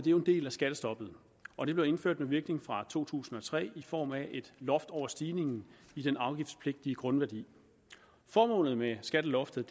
jo en del af skattestoppet og det blev indført med virkning fra to tusind og tre i form af et loft over stigningen i den afgiftspligtige grundværdi formålet med skatteloftet